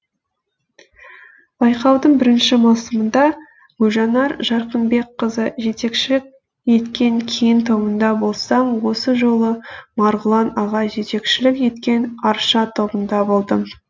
байқаудың бірінші маусымында гүлжанар жарқынбекқызы жетекшілік еткен кен тобында болсам осы жолы марғұлан аға жетекшілік еткен арша тобында болдым